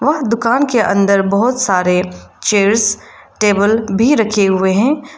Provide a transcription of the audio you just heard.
उस दुकान के अंदर बहोत सारे चेयर्स टेबल भी रखे हुए हैं।